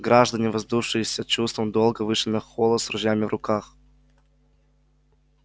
граждане воодушевившиеся чувством долга вышли на холла с ружьями в руках